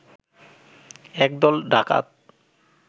এক দল ডাকাত